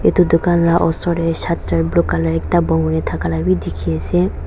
edu dukan la osor tae shutter blue colour ekta bon kurina thaka la bi dikhiase.